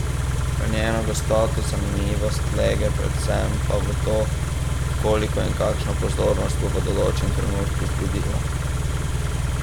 Njeno gostoto, zanimivost, lege, predvsem pa to, koliko in kakšno pozornost bo v določenem trenutku vzbudila.